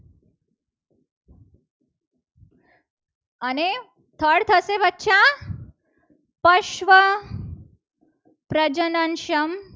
અને third કોણ થશે. બચ્ચા પશ્વ પ્રજનન સંઘ